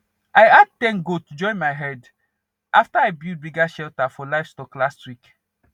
i add ten goat join my herd after i build bigger shelter for livestock last week